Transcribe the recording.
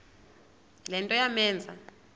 le nto yamenza